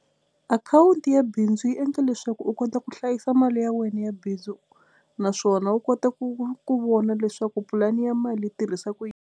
Akhawunti ya bindzu yi endla leswaku u kota ku hlayisa mali ya wena ya bindzu naswona u kota ku ku vona leswaku pulani ya mali yi tirhisa ku yini.